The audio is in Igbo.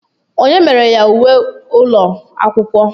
Onye mere ya uwe ụlọ akwụkwọ?